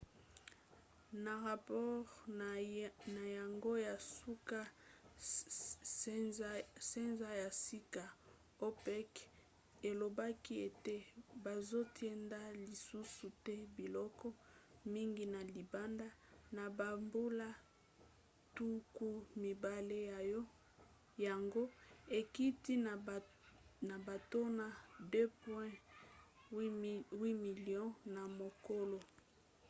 na rapore na yango ya nsuka sanza ya sika opec elobaki ete bazotinda lisusu te biloko mingi na libanda na bambula tuku mibale yango ekiti na batono 2,8 milio na mokolo